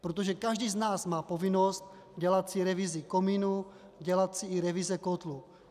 Protože každý z nás má povinnost dělat si revizi komínu, dělat si i revize kotlů.